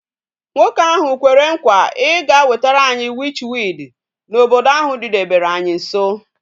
Nwoke ahu kwere nkwa I ga wetere anyi witch weed na ahu obodo didebere anyi nso